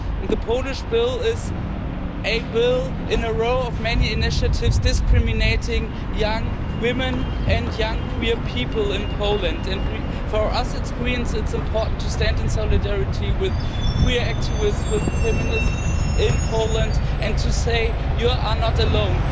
The Polish bill is a bill in a row of many initiatives discriminating young women and young queer people in Poland. For us the Greens, it is important to stand in solidarity with queer activists, with feminists in Poland and to say you are not alone!'